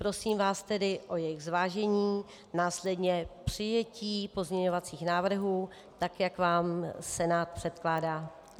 Prosím vás tedy o jejich zvážení, následně přijetí pozměňovacích návrhů tak, jak vám Senát předkládá.